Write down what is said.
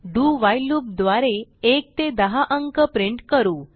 do while loop द्वारे 1 ते 10 अंक प्रिंट करू